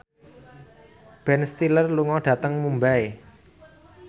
Ben Stiller lunga dhateng Mumbai